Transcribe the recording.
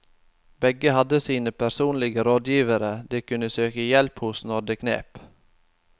Begge hadde sine personlige rådgivere de kunne søke hjelp hos når det knep.